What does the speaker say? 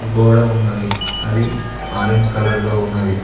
గోడ ఉన్నది అది ఆరంజ్ కలర్లో ఉన్నది.